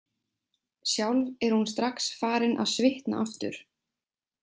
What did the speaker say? Sjálf er hún strax farin að svitna aftur.